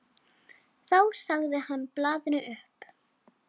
Þá sagði hann blaðinu upp.